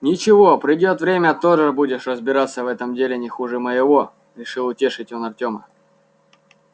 ничего придёт время тоже будешь разбираться в этом деле не хуже моего решил утешить он артема